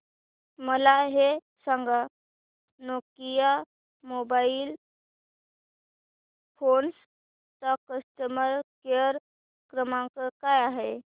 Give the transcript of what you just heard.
मला हे सांग नोकिया मोबाईल फोन्स चा कस्टमर केअर क्रमांक काय आहे